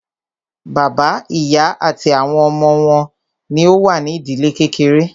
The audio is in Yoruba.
Bàbá, ìyá àti àwọn ọmọ wọn ní o wà ní ìdílé kékeré.